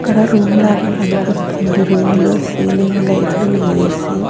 అక్కడ రూమ్ లాగా కనిపిస్తుంది రూమ్ లో సీలింగ్ లైట్లు ఏ_సి .